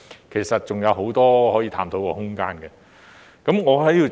其實這方面還有很多可以探討的空間。